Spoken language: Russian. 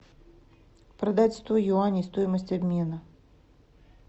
продать сто юаней стоимость обмена